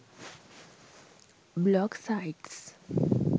blog sites